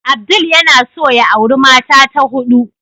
Abdul yana son ya auri mata ta hudu.